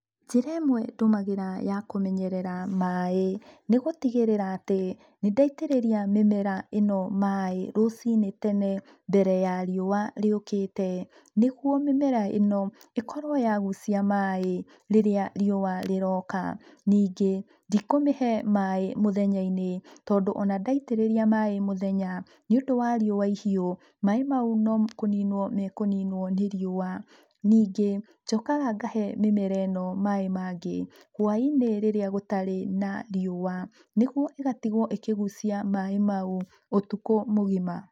Njĩra ĩmwe ndũmagĩra ya kũmenyerera maĩ nĩ gũtigĩrĩra atĩ nĩ ndaitĩrĩria mĩmera ĩno maĩ rũcinĩ tene mbere ya riũa rĩũkĩte nĩguo mĩmera ĩno ĩkorwo yagucia maĩ rĩrĩa riũa rĩroka. Ningĩ ndikũmĩhe maĩ mũthenya-inĩ tondũ ona ndaitĩrĩria maĩ mũthenya nĩ ũndũ wa riũa ihiũ, maĩ mau no kũniinwo mekũninwo nĩ riũa. Ningĩ njũkaga ngahe mĩmera ĩno maĩ mangĩ hwaĩ-inĩ rĩrĩa gũtakoragwo na riũa nĩguo ĩgatigwo ĩkĩgucia maĩ mau ũtukũ mũgima.